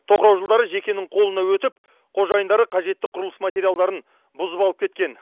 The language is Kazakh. тоқырау жылдары жекенің қолына өтіп қожайындары қажетті құрылыс материалдарын бұзып алып кеткен